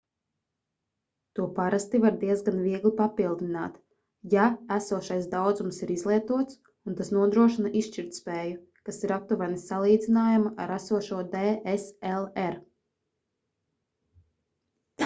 to parasti var diezgan viegli papildināt ja esošais daudzums ir izlietots un tas nodrošina izšķirtspēju kas ir aptuveni salīdzināma ar esošo dslr